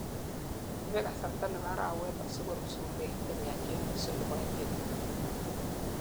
ibe kasarta nebo arawet asikorut sumek chemiachen nusu nebo inchit